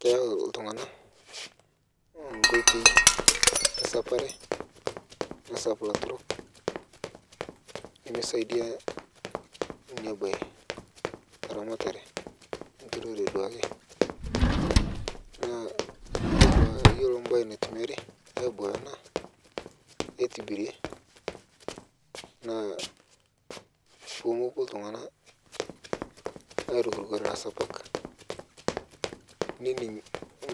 Keyau ltung'ana nkotei e saparee nisaap laaturok nemee saidia nia bayi ta ramatare e nturore duake naa iyeloo duake iyeloo baye naitumiari abaya ana aitibirie naa poo mopoo ltung'ana airukrukore laisapaak nening'i